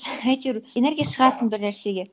әйтеуір энергия шығатын бір нәрсеге